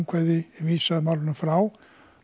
vísað málinu frá